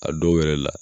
A dɔw yɛrɛ la